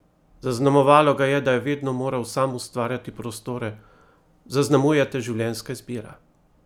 Zaznamovalo ga je, da je vedno moral sam ustvarjati prostore: "Zaznamuje te življenjska izbira.